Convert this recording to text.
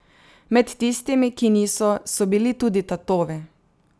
Med tistimi, ki niso, so bili tudi tatovi.